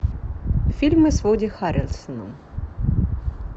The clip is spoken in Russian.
фильмы с вуди харрельсоном